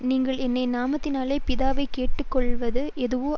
நீங்கள் என் நாமத்தினாலே பிதாவைக் கேட்டுக்கொள்வது எதுவோ